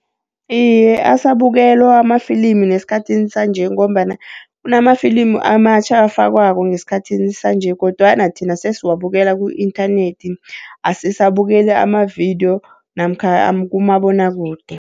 Iye, asabukelwa amafilimu nesikhathini sanje ngombana kunamafilimu amatjhatjha ofakwako ngesikhathini sanje, kodwana thina sesiwabekela ku-inthanethi asisabukeli amavidiyo namkha kumabonwakude.